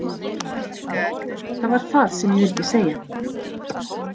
Það var það sem ég vildi segja.